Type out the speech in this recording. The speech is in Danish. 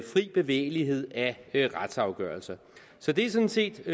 fri bevægelighed af retsafgørelser så det er sådan set